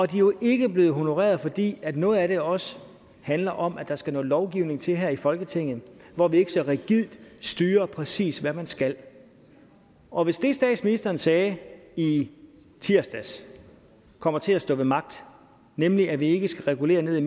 de er jo ikke blevet honoreret fordi noget af det også handler om der skal noget lovgivning til her i folketinget for at vi ikke så rigidt styrer præcis hvad man skal og hvis det statsministeren sagde i i tirsdags kommer til at stå ved magt nemlig at vi ikke skal regulere ned i